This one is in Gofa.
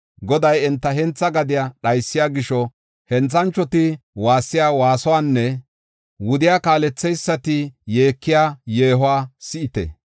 Goday enta hentha gadiya dhaysiya gisho, henthanchoti waassiya waasuwanne wudiya kaaletheysati yeekiya yeehuwa si7ite.